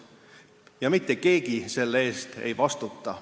Ja mitte keegi selle eest ei vastuta.